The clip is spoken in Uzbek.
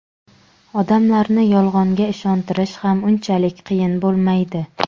odamlarni Yolg‘onga ishontirish ham unchalik qiyin bo‘lmaydi.